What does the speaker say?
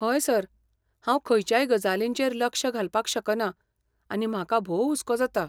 हय सर, हांव खंयच्याय गजालींचेर लक्ष घालपाक शकना, आनी म्हाका भोव हुस्को जाता.